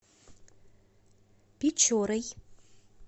печорой